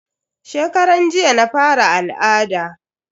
Shekaran jiya na fara al'ada.